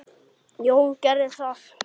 Jón gerði það.